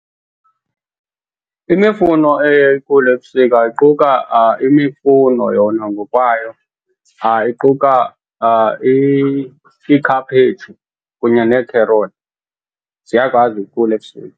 Imifuno eye ikhule ebusika iquka imifuno yona ngokwayo. Iquka iikhaphetshu kunye neekherothi, ziyakwazi ukukhula ebusika.